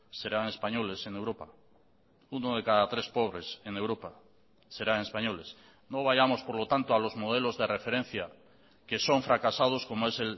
serán españoles en europa uno de cada tres pobres en europa serán españoles no vayamos por lo tanto a los modelos de referencia que son fracasados como es